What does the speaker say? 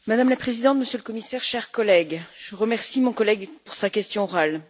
Madame la Présidente, Monsieur le Commissaire, chers collègues, je remercie mon collègue pour sa question orale.